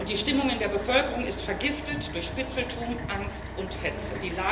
Die Stimmung in der Bevölkerung ist vergiftet durch Spitzeltum, Angst und Hetze.